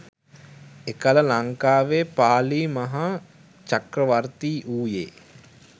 එකල ලංකාවේ පාලි මහා චක්‍රවර්ති වූයේ